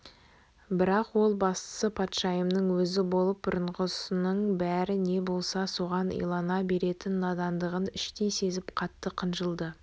бірақ ол бастығы патшайымның өзі болып бұқарасының бәрі не болса соған илана беретін надандығын іштей сезіп қатты қынжылды